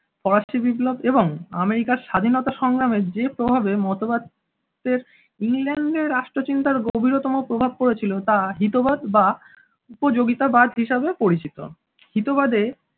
ফরাসি বিপ্লব এবং আমেরিকার স্বাধীনতা সংগ্রামের যে প্রভাবে মতবাদকে ইংলেন্ডের রাষ্ট্রচিন্তার গভীরতম প্রভাব পড়েছিল তা হিতবাদ বা উপযোগিতাবাদ হিসেবে পরিচিত। হিতবাদে